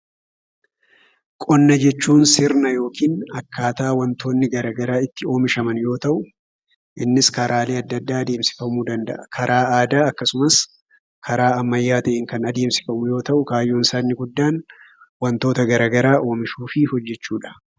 Qonna jechuun sirna yookiin akkaataa wantoonni garaagaraa itti oomishaman yommuu ta'u, innis karaalee adda addaa adeemsifamuu danda'a. Karaa aadaa akkasumas karaa ammayyaa ta'een kan adeemsifamu yoo ta'u, kaayyoon isaa inni guddaan wantoota garaagaraa oomishuu fi hojjechuu dha.